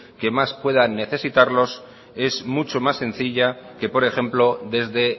que más puedan necesitarlos es mucho más sencilla que por ejemplo desde